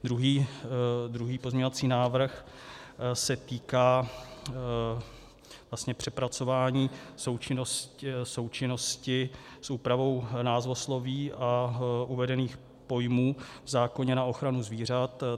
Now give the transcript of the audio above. Druhý pozměňovací návrh se týká vlastně přepracování součinnosti s úpravou názvosloví a uvedených pojmů v zákoně na ochranu zvířat.